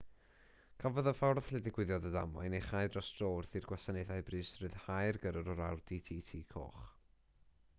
cafodd y ffordd lle digwyddodd y ddamwain ei chau dros dro wrth i'r gwasanaethau brys ryddhau'r gyrrwr o'r audi tt coch